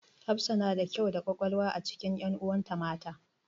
Hafsa na da kyau da ƙwaƙwalwa a cikin ƴanuwan ta mata.